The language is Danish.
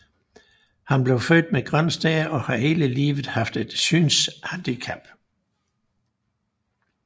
Han blev født med grøn stær og har hele livet haft et synshandicap